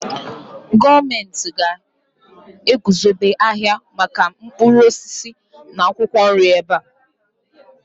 gọọmenti ga-eguzobe ahịa maka mkpụrụ osisi na akwụkwọ nri ebe a